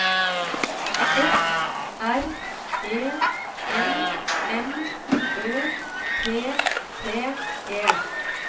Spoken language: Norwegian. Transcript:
F R E M M Ø T T E